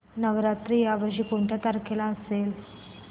नवरात्र या वर्षी कुठल्या तारखेला असेल